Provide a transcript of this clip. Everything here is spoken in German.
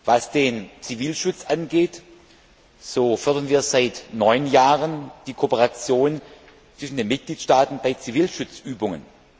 Was den Zivilschutz angeht, so fördern wir seit neun Jahren die Kooperation zwischen den Mitgliedstaaten bei Zivilschutzübungen.